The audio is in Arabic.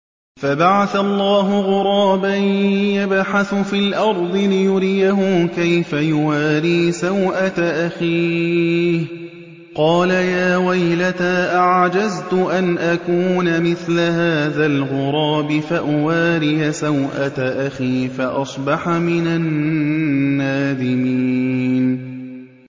فَبَعَثَ اللَّهُ غُرَابًا يَبْحَثُ فِي الْأَرْضِ لِيُرِيَهُ كَيْفَ يُوَارِي سَوْءَةَ أَخِيهِ ۚ قَالَ يَا وَيْلَتَا أَعَجَزْتُ أَنْ أَكُونَ مِثْلَ هَٰذَا الْغُرَابِ فَأُوَارِيَ سَوْءَةَ أَخِي ۖ فَأَصْبَحَ مِنَ النَّادِمِينَ